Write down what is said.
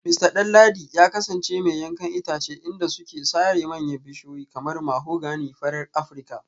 Mista Danladi ya kasance mai yankan itace inda suke sare manyan bishiyoyi kamar mahogany farar Afirka